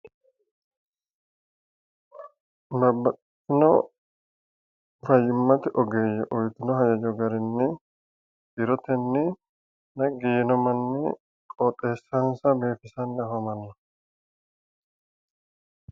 Babbaxitino fayyimate ogeeyye uytino hajajo garinni jirotenni naggi yiino manni qooxessansa biifisanni afamanno